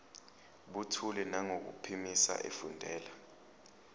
buthule nangokuphimisa efundela